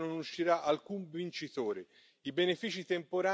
Da questo braccio di ferro non uscirà alcun vincitore.